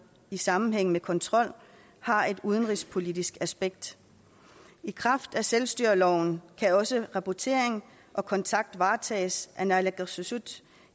i sammenhæng med kontrol har et udenrigspolitisk aspekt i kraft af selvstyreloven kan også rapportering og kontakt varetages af naalakkersuisut